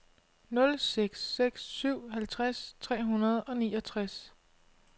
nul seks seks syv halvtreds tre hundrede og niogtres